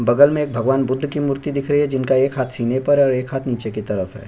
बगल एक भगवान भुद्ध जी की मूर्ति दिख रही है जिनका एक हाथ सीने पर है और एक हाथ नीचे की तरफ हैं।